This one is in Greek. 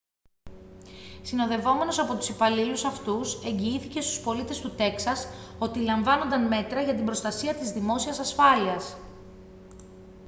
συνοδευόμενος από τους υπαλλήλους αυτούς εγγυήθηκε στους πολίτες του τέξας ότι λαμβάνονταν μέτρα για την προστασία της δημόσιας ασφάλειας